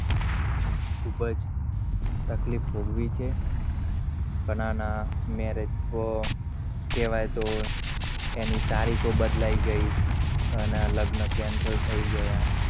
ખૂબજ તકલીફ ભોગવી છે ઘણા marriage તો કેવાય તો એની તારીખો બદલાઈ ગઈ, ઘણા ના લગ્ન cancel થઈ ગયા